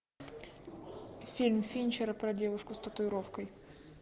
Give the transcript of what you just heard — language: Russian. фильм финчера про девушку с татуировкой